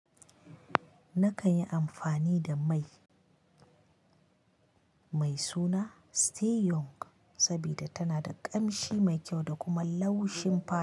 Nakan yi amfani da mai mai suna Stay Young saboda tana da ƙamshi mai kyau da kuma laushin fata.